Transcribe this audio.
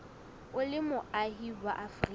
o le moahi wa afrika